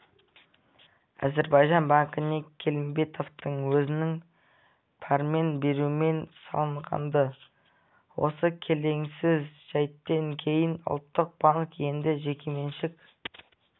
әзірбайжан банкіне келімбетовтың өзінің пәрмен беруімен салынған-ды осы келеңсіз жәйттен кейін ұлттық банк енді жекеменшік